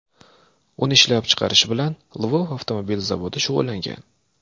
Uni ishlab chiqarish bilan Lvov avtomobil zavodi shug‘ullangan.